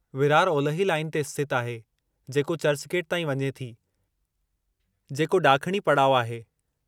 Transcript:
विरार ओलिही लाइन ते स्थितु आहे जेको चर्चगेट ताईं वञे थी, जेको ॾाखिणी पड़ाउ आहे।